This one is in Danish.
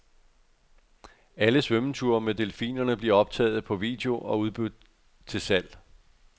Alle svømmeture med delfinerne bliver optaget på video og udbudt til salg.